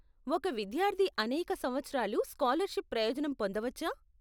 ఒక విద్యార్ధి అనేక సంవత్సరాలు స్కాలర్షిప్ ప్రయోజనం పొందవచ్చా?